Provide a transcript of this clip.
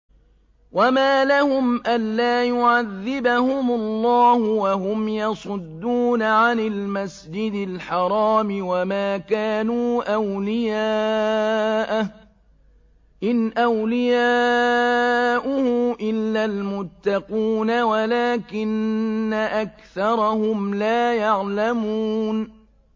وَمَا لَهُمْ أَلَّا يُعَذِّبَهُمُ اللَّهُ وَهُمْ يَصُدُّونَ عَنِ الْمَسْجِدِ الْحَرَامِ وَمَا كَانُوا أَوْلِيَاءَهُ ۚ إِنْ أَوْلِيَاؤُهُ إِلَّا الْمُتَّقُونَ وَلَٰكِنَّ أَكْثَرَهُمْ لَا يَعْلَمُونَ